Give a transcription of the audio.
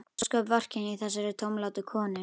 Ósköp vorkenni ég þessari tómlátu konu.